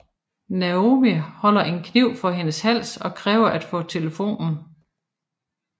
Naomi holder en kniv for hendes hals og kræver at få telefonen